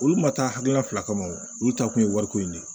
Olu ma taa hakilina fila kama wo olu ta kun ye wariko ye